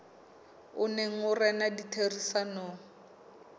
o neng o rena ditherisanong